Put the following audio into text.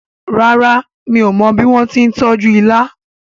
ràrá mi'o mo bí wón tí tọjú ìlà